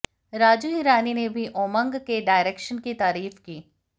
राजू हिरानी ने भी ओमंग के डायरेक्शन की तारीफ की